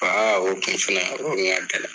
Aa o tun fana yɔrɔ nin ka gɛlɛ.